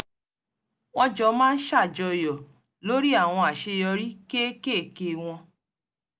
wọ́n jọ máa ń ṣàjọyọ̀ lórí àwọn àṣeyọrí kéékèèké wọ́n